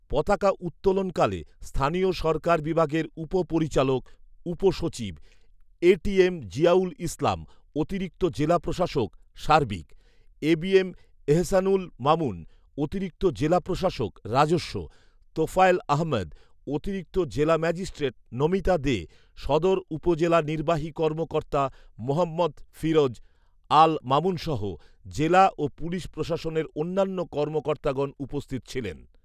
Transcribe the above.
পতাকা উত্তোলনকালে স্থানীয় সরকার বিভাগের উপ পরিচালক উপ সচিব এটিএম জিয়াউল ইসলাম, অতিরিক্ত জেলা প্রশাসক সার্বিক এবিএম এহছানুল মামুন, অতিরিক্ত জেলা প্রশাসক রাজস্ব তোফায়েল আহমেদ, অতিরিক্ত জেলা ম্যাজিস্ট্রেট নমিতা দে, সদর উপজেলা নির্বাহী কর্মকর্তা মোহাম্মদ ফিরোজ আল মামুনসহ জেলা ও পুলিশ প্রশাসনের অন্যান্য কর্মকর্তাগণ উপস্থিত ছিলেন